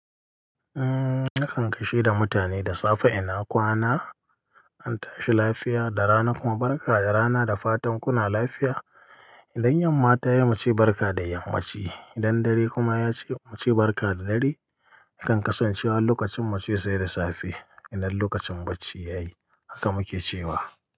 Umm, nakan gaishe da mutane da safe ina kwana, an tashi lafiya da rana kuma barka da rana da fatan kuna lafiya. Idan yamma ta yi muce barka da yammaci, idan dare kuma yace muce barka da dare. A kan kasancewar lokacin mu ce sai da safe. Idan lokacin bacci ya yi haka mu ke cewa.